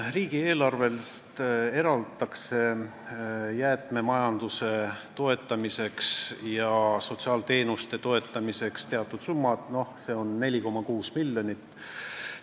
Riigieelarvest eraldatakse jäätmemajanduse toetamiseks ja sotsiaalteenuste osutamise toetamiseks teatud summa, see on 4,6 miljonit.